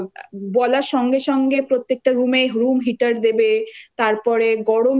যে আ বলার সঙ্গে সঙ্গে প্রত্যেকটা রুমে room